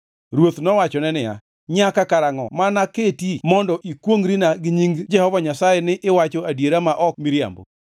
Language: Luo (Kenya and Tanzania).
Ruoth nowachone niya, “Nyaka karangʼo ma anaketi mondo ikwongʼrina gi nying Jehova Nyasaye ni iwacho adiera ma ok miriambo?”